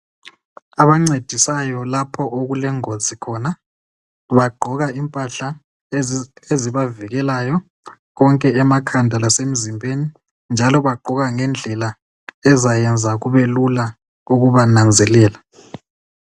Abancedisayo lapho okule ngozi khona. Bagqoka impahla ezibavikelayo konke emakhanda lasemzimbeni njalo bagqoka ngendlela ezayenza kube lula ukuba nanzelela.